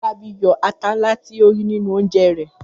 Fọlábí yọ ata ńlá tí ó rí nínú oúnjẹ rẹ̀.